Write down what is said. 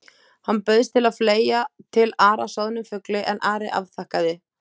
Hann bauðst til að fleygja til Ara soðnum fugli en Ari afþakkaði.